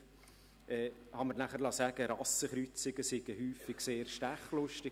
Ich liess mir danach erklären, Rassenkreuzungen seien häufig sehr stechlustig.